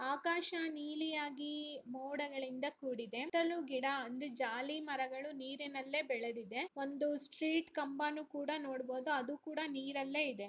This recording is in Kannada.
ಆಕಾಶ ನೀಲಿಯಾಗಿ ಮೋಡಗಳಿಂದ ಕೂಡಿದೆ ಸುತ್ತಲೂ ಗಿಡ ಅಂದ್ರೆ ಜಾಲಿ ಮರಗಳ ನೀರಿನಲ್ಲಿ ಬೆಳದಿದೆ ಒಂದುಸ್ಟ್ರೀಟ್ ಕಂಬಾನು ಕೂಡ ನೋಡ್ಬೋದು ಅದು ಕೂಡ ನೀರಲ್ಲೇ ಇದೆ.